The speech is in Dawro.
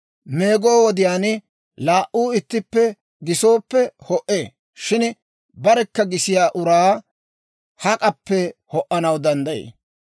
Meego wodiyaan laa"uu ittippe gisooppe ho"ee; shin barekka gisiyaa uraa hak'appe ho"anaw danddayii?